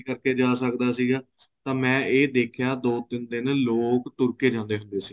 ਜਾ ਸਕਦਾ ਸੀਗਾ ਤਾਂ ਮੈਂ ਏ ਦੇਖਿਆ ਦੋ ਤਿੰਨ ਦਿਨ ਲੋਕ ਤੁਰ ਕੇ ਜਾਂਦੇ ਹੁੰਦੇ ਸੀ